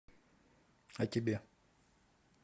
а тебе